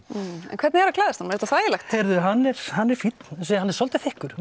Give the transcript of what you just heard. en hvernig er að klæðast honum er þetta þægilegt heyrðu hann er hann er fínn hann er svolítið þykkur